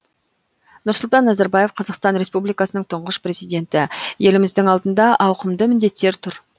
нұрсұлтан назарбаев қазақстан республикасының тұңғыш президенті еліміздің алдында ауқымды міндеттер тұр